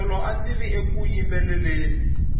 tolo andziri eku yimbeleleni